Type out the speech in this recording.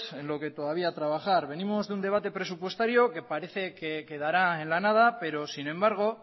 en lo que todavía trabajar venimos de un debate presupuestario que parece que quedará en la nada pero sin embargo